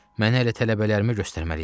Mənə elə tələbələrimi göstərməli idi.